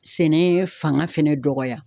Sɛnɛ fanga fɛnɛ dɔgɔya